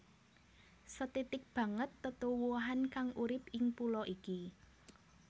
Sethithik banget tetuwuhan kang urip ing pulo iki